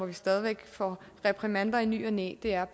vi stadig får reprimander i ny og næ er